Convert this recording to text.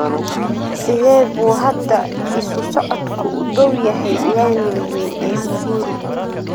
sidee buu hadda isu socodku u dhow yahay laamiga weyn ee uhuru